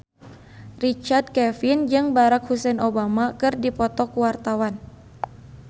Richard Kevin jeung Barack Hussein Obama keur dipoto ku wartawan